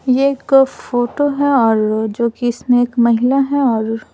ये एक फोटो है और जो कि इसमें एक महिला है और --